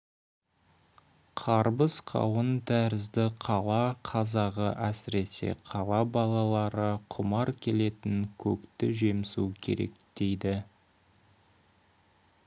қарбыз-қауын тәрізді қала қазағы әсіресе қала балалары құмар келетін көкті жемсу керек дейді